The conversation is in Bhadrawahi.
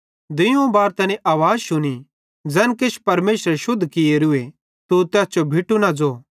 फिरी दुइयोवं बार तैनी आवाज़ शुनी ज़ैन किछ परमेशरे शुद्ध कियोरूए तू तैस जो भिटू न ज़ो